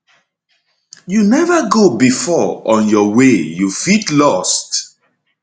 you neva go before on your way you fit lost